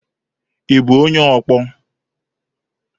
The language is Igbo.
Ị bụ onye ọkpọ?